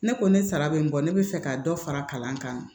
Ne ko ne sara bɛ n bɔ ne bɛ fɛ ka dɔ fara kalan kan